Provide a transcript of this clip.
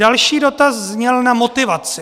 Další dotaz zněl na motivaci.